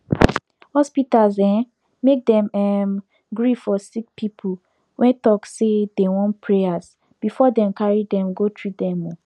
hospitals um make dem um gree for sick people wey talk say dem wan prayers before dem carry dem go treat them um